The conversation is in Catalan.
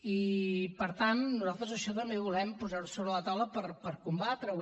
i per tant nosaltres això també volem posar ho sobre la taula per combatre ho